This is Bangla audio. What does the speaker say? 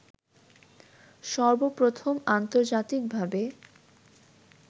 সর্বপ্রথম আন্তর্জাতিক ভাবে